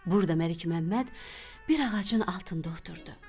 Burda Məlik Məmməd bir ağacın altında oturdu.